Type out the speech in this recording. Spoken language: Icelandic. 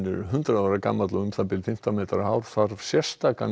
er hundrað ára gamall og um það bil fimmtán metra hár þarf sérstakan